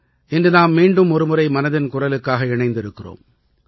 இன்று நாம் மீண்டும் ஒரு முறை மனதின் குரலுக்காக இணைந்திருக்கிறோம்